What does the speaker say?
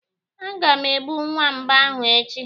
Aga m egbu nwamba ahụ echi.